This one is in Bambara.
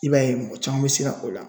I b'a ye mɔgɔ caman be siran o la